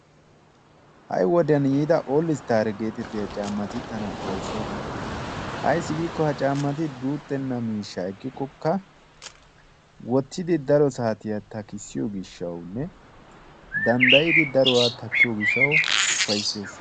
Ha'i wodiyaan yiida 'oldi' istaariyaa gettetiya caammati tana upayssoosona. Ayssi giikko ha caammati guuxxena miishshaa ekkikoka woottidi daro saatiyaa takisiyoo giishawunne danddayidi daruwaa takkiyoo giishshawu ufayssees.